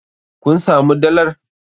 Kun samu dalar?